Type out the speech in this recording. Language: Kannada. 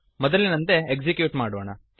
ಮೊದಲಿನಂತೆ ಎಕ್ಸಿಕ್ಯೂಟ್ ಮಾಡೋಣ